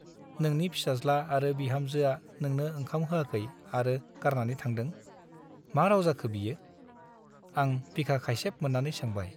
नोंनि फिसाज्ला आरो बिहामजोआ नोंनो ओंखाम होआखै आरो गारनानै थांदों , मा राव जाखो बियो ? आं बिखा खाइसेब मोन्नानै सोंबाय ।